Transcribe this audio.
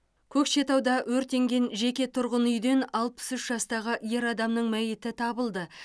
көкшетауда өртенген жеке тұрғын үйден алпыс үш жастағы ер адамның мәйіті табылды